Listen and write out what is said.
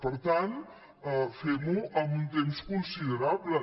per tant fem ho amb un temps considerable